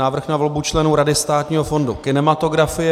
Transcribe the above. Návrh na volbu členů Rady Státního fondu kinematografie